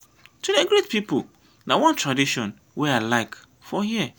to dey greet pipu na one tradition wey i like for here.